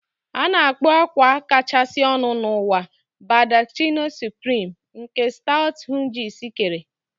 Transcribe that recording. A na-akpọ akwa kachasị ọnụ n'ụwa Baldacchino Supreme, nke Stuart Hughes kere